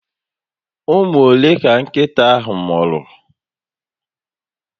Ụmụ ole ka nkịta ahụ mụrụ?